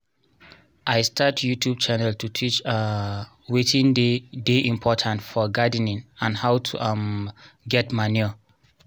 i start youtube channel to teach um watin dey dey important for gardening and how to um get manure